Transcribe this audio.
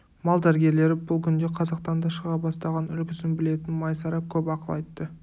мал дәрігерлері бұл күнде қазақтан да шыға бастаған үлгісін білетін майсара көп ақыл айтты